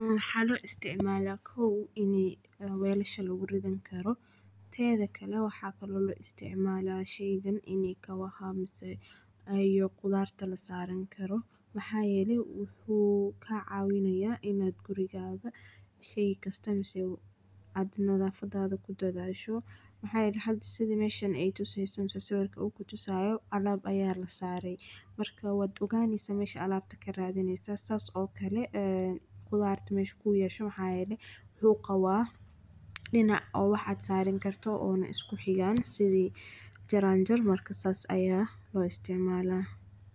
Mxa lo isticmala kow ini welasha lagurankaro tedikale wxa kale oo lo isticmali sheydan ine kabaha mise ,iyo qudarta lasarani karo wxa yele wxu kacawinaya ina gurigaga shey kasta mise adnadafada kudadasho, mxa yele hada sithi meshan aytuseso sawrika u kutusayo alab aya lasare marka wad ogan neysa mesha alabta karadineysa sas okale eeh qudarta mesha kuyasho mxa yele luqa wa dinaca o wax adsaran karto oo iskuxigan sidi jaranjar aya loisticmala.